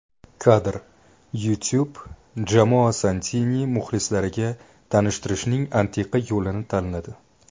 Kadr: YouTube Jamoa Santini muxlislarga tanishtirishning antiqa yo‘lini tanladi.